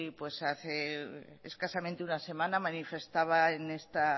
hace escasamente una semana manifestaba en esta